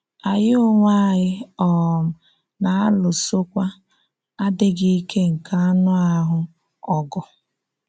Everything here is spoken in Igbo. Ànyí onwe ànyí um na-alúsokwa adị́ghị íké nke ànụ́ ahụ́ ọgụ.